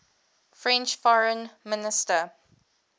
french foreign minister